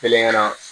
Kɛlen ka na